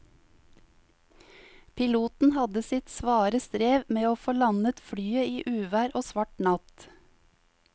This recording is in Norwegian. Piloten hadde sitt svare strev med å få landet flyet i uvær og svart natt.